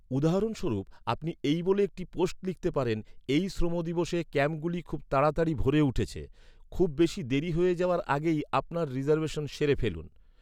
উদাহরণস্বরূপ, আপনি এই বলে একটি পোস্ট লিখতে পারেন, "এই শ্রম দিবসে ক্যাম্পগুলি খুব তাড়াতাড়ি ভরে উঠছে! খুব বেশি দেরি হয়ে যাওয়ার আগেই আপনার রিজার্ভেশন সেরে ফেলুন!"